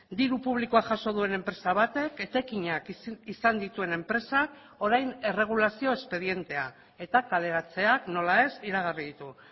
diru publikoa jaso duen enpresa batek etekinak izan dituen enpresak orain erregulazio espedientea eta kaleratzeak nola ez iragarri ditu